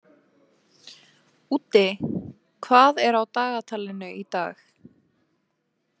Úddi, hvað er á dagatalinu í dag?